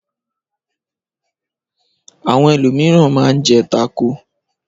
Àwọn ẹlòmíràn máa ń jẹ tákò.